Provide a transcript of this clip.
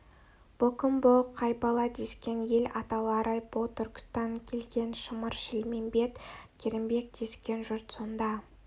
бұ кім бұ қай бала дескен ел аталары бұ түлкібастан келген шымыр-шілмембет керімбек дескен жұрт сонда